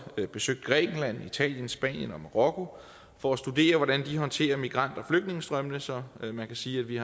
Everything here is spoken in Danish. besøgt grækenland italien spanien og marokko for at studere hvordan de håndterer migrant og flygtningestrømmene så man kan sige at vi